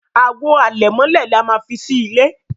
Àwo àlẹ̀mọ́lẹ̀ là má fí sí ìlé